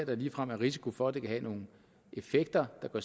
her ligefrem er risiko for at det kan have nogle effekter der går